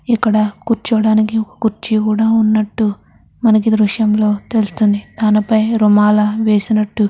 ఇక్కడ కూర్చోడానికి ఒక కుర్చీ కూడ ఉన్నట్టు మనకి దృశ్యంలో తెలుస్తుంది దాని పై రుమాల వేసినట్టు --